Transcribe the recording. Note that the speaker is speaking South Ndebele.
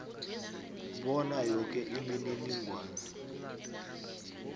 bona yoke imininingwana